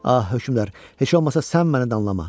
Ah, hökmdar, heç olmasa sən məni danlama.